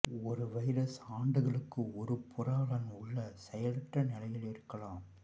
ஒரு வைரஸ் ஆண்டுகளுக்கு ஒரு புரவலன் உள்ள செயலற்ற நிலையில் இருக்கலாம்